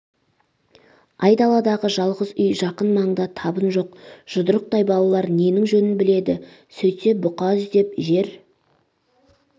айдаладағы жалғыз үй жақын маңда табын жоқ жұдырықтай балалар ненің жөнін біледі сөйтсе бұқа іздеп жер